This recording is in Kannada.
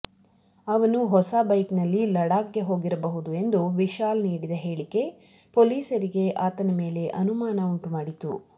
ಅವನು ಹೊಸ ಬೈಕ್ನಲ್ಲಿ ಲಡಾಕ್ಗೆ ಹೋಗಿರಬಹುದು ಎಂದು ವಿಶಾಲ್ ನೀಡಿದ ಹೇಳಿಕೆ ಪೊಲೀಸರಿಗೆ ಆತನ ಮೇಲೆ ಅನುಮಾನ ಉಂಟು ಮಾಡಿತು